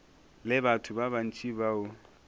le batho ba bantši bao